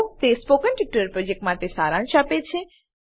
તે spoken tutorial પ્રોજેક્ટનો સારાંશ આપે છે